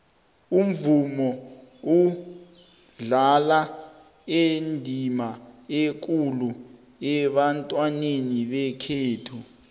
umvumo udlala indima ekulu ebantwini bekhethu